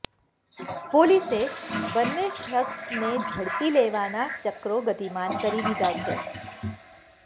પોલીસે બન્ને શખસને ઝડપી લેવાના ચક્રો ગતિમાન કરી દીધાં છે